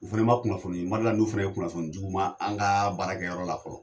U Fɛmɛ ma kunnafoni n d'ala n'u fɛnɛ ye kunnafoni di u ma an ka baarakɛyɔrɔ la fɔlɔ